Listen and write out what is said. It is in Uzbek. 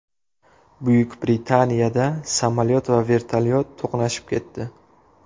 Buyuk Britaniyada samolyot va vertolyot to‘qnashib ketdi.